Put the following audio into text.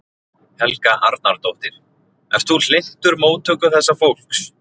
Helga Arnardóttir: Ert þú hlynntur móttöku þessa fólks?